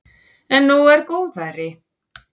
En nú er góðæri.